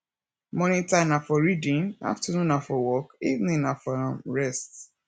morning time na for reading afternoon na for work evening na for um rest